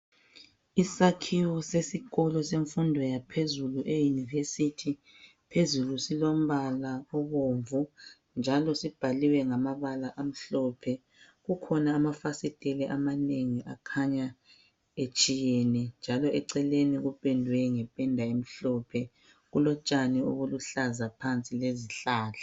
Isakhiwo sesikolo semfundo yaphezulu eyunivesithi phezulu silombala obomvu njalo sibhaliwe ngamabala amhlophe kukhona amafasiteli amanengi akhanya etshiyene njalo eceleni kupedwe ngependa emhlophe kulotshani obuluhlaza phansi lezihlahla.